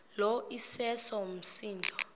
lo iseso msindo